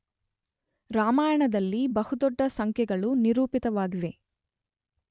ರಾಮಾಯಣದಲ್ಲಿ ಬಹು ದೊಡ್ಡ ಸಂಖ್ಯೆಗಳು ನಿರೂಪಿತವಾಗಿವೆ.